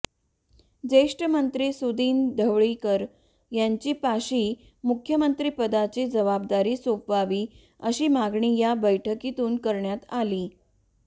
ज्येष्ठ मंत्री सुदिन ढवळीकर यांच्यापाशी मुख्यमंत्रीपदाची जबाबदारी सोपवावी अशी मागणी या बैठकीतून करण्यात आली